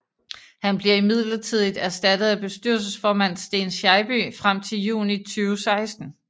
Han bliver midlertidigt erstattet af bestyrelsesformand Sten Scheibye frem til juni 2016